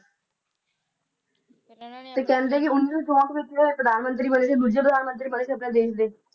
ਤੇ ਕਹਿੰਦੇ ਨੇ ਉੱਨੀ ਸੌ ਚੌਂਠ ਵਿਚ ਇਹ ਪ੍ਰਧਾਨ ਮੰਤਰੀ ਬਣੇ ਸੀ ਦੋਜੇ ਪ੍ਰਧਾਨ ਮੰਤਰੀ ਬਣੇ ਸੀ ਸਾਡੇ ਦੇਸ਼ ਦੇ